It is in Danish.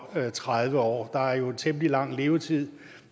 tredive år der er jo temmelig lang levetid